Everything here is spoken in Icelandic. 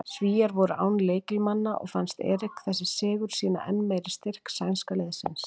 Svíar voru án lykilmanna og fannst Erik þessi sigur sýna enn meira styrk sænska liðsins.